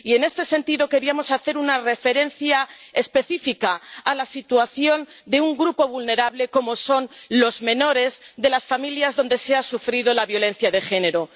Y, en este sentido, queríamos hacer una referencia específica a la situación de un grupo vulnerable, como son los menores de las familias donde se ha sufrido la violencia de género.